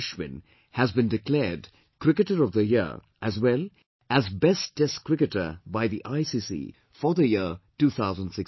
Ashwin has been declared 'Cricketer of the Year' as well as 'Best Test Cricketer' by the ICC for the year 2016